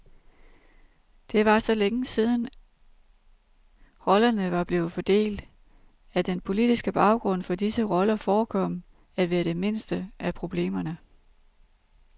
Det var så længe siden, rollerne var blevet fordelt, at den politiske baggrund for disse roller forekom at være det mindste af problemerne.